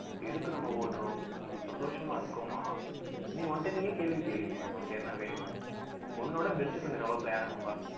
எதுக்கு நம்ம ஓடுறோம் ஹம் சந்தோஷமா இருக்கோமாஉன்கிட்ட நீயே கேள்வி கேளுயே உனக்கு என்ன வேணும் உன்னோட best friend இந்த உலகத்துல யார் இருப்பா